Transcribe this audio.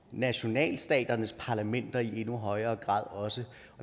nationalstaternes parlamenter i endnu højere grad